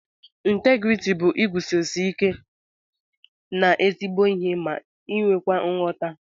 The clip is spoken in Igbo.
Integriti bu iguzosi ike na ezigbo ihe ma nwekwa nghọta.